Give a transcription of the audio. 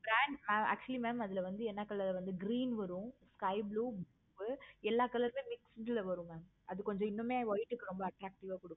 brand actually mam அதுல வந்து என்ன color green வரும். sky blue, எல்லா color ரும் mixing ல வரும் mam அது கொஞ்சம் இன்னுமே white க்கு attractive ஆஹ் கொடுக்கும்.